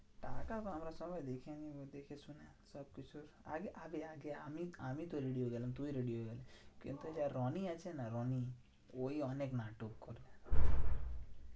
টাকা তো আমরা সবাই দেখে নেবো দেখে শুনে সবকিছু আগে আগে আগে আমি আমিতো ready হয়ে গেলাম, তুই ready হয়ে গেলি। কিন্তু যে রনি আছে না রনি ওই অনেক নাটক করে।